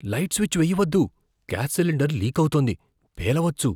Light switch వెయ్య వద్దు gas cylinder లీకవుతోంది, పేలవచ్చు.